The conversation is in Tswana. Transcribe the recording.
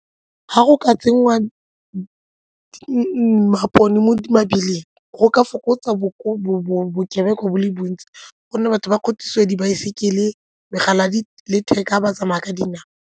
Ga go ka tsenngwa mabone mo mebileng go ka fokotsa bokebekwa bo le bontsi gonne batho ba kgothosiwa dibaesekele, megala ya letheka ba tsamaya ka dinao.